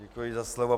Děkuji za slovo.